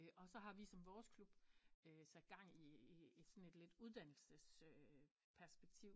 Og så har vi som vores klub sat gang i i i sådan et lidt uddannelses perspektiv